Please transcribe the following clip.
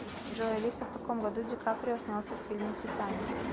джой алиса в каком году ди каприо снялся в фильме титаник